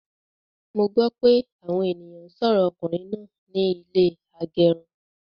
Mo gbọ pé àwọn ènìyàn n sọrọ ọkùnrin náà ní ilé agẹrun